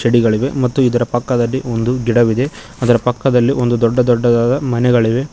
ಡಿಗಳಿವೆ ಮತ್ತು ಇದರ ಪಕ್ಕದಲ್ಲಿ ಒಂದು ಗಿಡವಿದೆ ಅದರ ಪಕ್ಕದಲ್ಲಿ ಒಂದು ದೊಡ್ಡ ದೊಡ್ಡದಾದ ಮನೆಗಳಿವೆ.